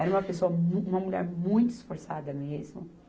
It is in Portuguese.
Era uma pessoa mu, uma mulher muito esforçada mesmo.